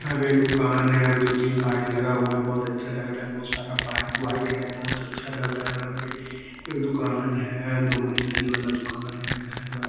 हा पे एक दुकान है अभी दो तीन बाइक लगा हुआ है बहुत अच्छा लग रहा है बहुत सारा बाइक वाइक है बहुत अच्छा लग रहा है यहा पे एक दुकान है दो मंजिल वाला दुकान है घर--